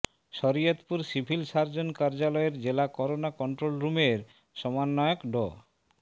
Shariatpur civil surgeon কার্যালয়ের জেলা corona control রুমের সমন্বয়ক ডা